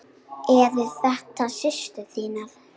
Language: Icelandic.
Eru þetta systur þínar?